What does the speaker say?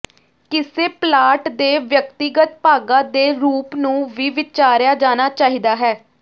ਕਿਸੇ ਪਲਾਟ ਦੇ ਵਿਅਕਤੀਗਤ ਭਾਗਾਂ ਦੇ ਰੂਪ ਨੂੰ ਵੀ ਵਿਚਾਰਿਆ ਜਾਣਾ ਚਾਹੀਦਾ ਹੈ